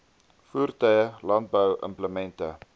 voertuie landbou implemente